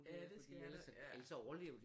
Ja det skal der ja